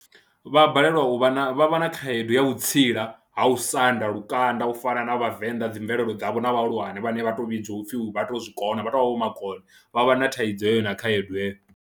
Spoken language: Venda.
Vha balelwa u vha, vha vha na khaedu ya u vhutsila ha u sanda lukanda u fana na vhavenḓa dzi mvelelo dzavho na vhahulwane vhane vha tou vhidzwa u pfhi vha tou zwi kona, vha tou vha vha vho makone vha vha na thaidzo heyo na khaedu heyo.